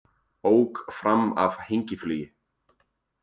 Ók fram af hengiflugi